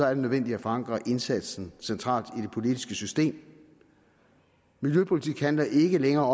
er det nødvendigt at forankre indsatsen centralt i det politiske system miljøpolitik handler ikke længere